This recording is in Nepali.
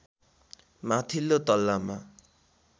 माथिल्लो तल्लामा